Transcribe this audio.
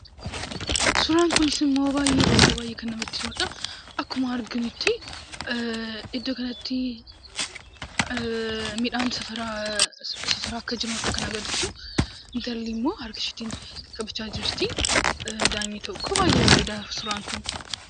Suuraan kunis immoo baay'ee baay'ee kan namatti toluudha. Akkuma arginutti, iddoo kanatti midhaan safaraa akka jiraniidha kan agarsiisu. Intalli immoo harka isheetiin qaqqabachaa jirti. Daa'imni tokkos. Baay'ee bareeda suuraan kun.